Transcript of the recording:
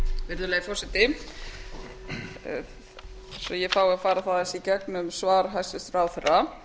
virðulegi forseti svo ég fái að fara aðeins í gegnum svar hæstvirtur ráðherra